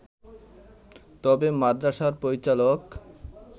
তবে মাদ্রাসার পরিচালক